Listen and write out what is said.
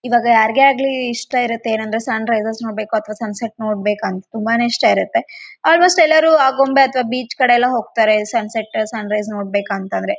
Same ಹಿಂಗೇ ಕಾಂತದ ನೋಡ್ರಿ ಯಲ್ಲ ಯಾಕಡೆ ನೋಡಿದ್ರು ಬರೇ ಬಿಲ್ಡಿಂಗ್ ಉ. ಯಲ್ಲ--